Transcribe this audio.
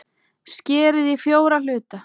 Skerið í fjóra hluta.